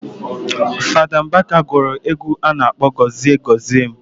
Fada Mbaka guru egwu ano akpo "Gozie Gozie m"